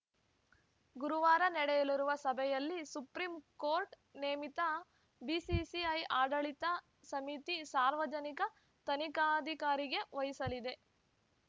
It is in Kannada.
ಗುರುವಾರ ನಡೆಯಲಿರುವ ಸಭೆಯಲ್ಲಿ ಸುಪ್ರೀಂ ಕೋರ್ಟ್‌ ನೇಮಿತ ಬಿಸಿಸಿಐ ಆಡಳಿತ ಸಮಿತಿ ಸಾರ್ವಜನಿಕ ತನಿಖಾಧಿಕಾರಿಗೆ ವಹಿಸಲಿದೆ